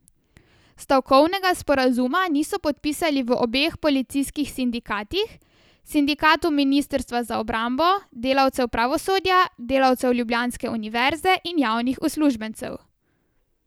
Stavkovnega sporazuma niso podpisali v obeh policijskih sindikatih, sindikatu ministrstva za obrambo, delavcev pravosodja, delavcev ljubljanske univerze in javnih uslužbencev.